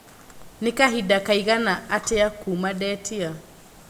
nĩ kahinda kaigana atĩa kuuma ndetia